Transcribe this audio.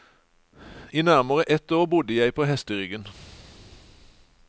I nærmere ett år bodde jeg på hesteryggen.